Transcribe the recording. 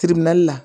la